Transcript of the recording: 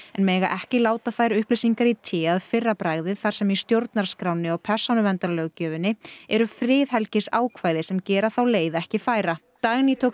en mega ekki láta þær upplýsingar í té að fyrra bragði þar sem í stjórnarskránni og persónuverndarlöggjöfinni eru friðhelgisákvæði sem gera þá leið ekki færa Dagný tók